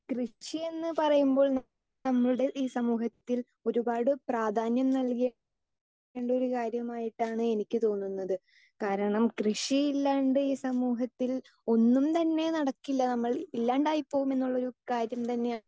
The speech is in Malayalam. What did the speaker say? സ്പീക്കർ 2 കൃഷി എന്ന് പറയുമ്പോൾ നമ്മുടെ ഇ സമൂഹത്തിൽ ഒരുപാട് പ്രാധ്യാനം നൽകേണ്ട ഒരു കാര്യം ആയിട്ടാണ് എനിക്ക് തോന്നുന്നത് കാരണം കൃഷി ഇല്ലാണ്ട് ഈ സമൂഹത്തിൽ ഒന്നും താനെ നടക്കില്ല നമ്മൾ ഇല്ലാണ്ടായി പോകും എന്നുള്ള ഒരു കാര്യം തന്നെ